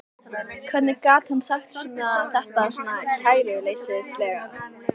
Hvernig gat hann sagt þetta svona kæruleysislega?